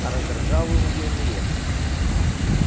а раздражал он её нередко